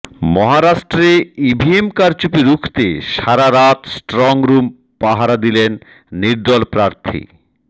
মহারাষ্ট্রে ইভিএম কারচুপি রুখতে সারারাত স্ট্রং রুম পাহারা দিলেন নির্দল প্রার্থী